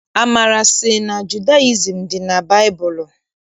Amara sị na Judayizim dị na baịbụlụ.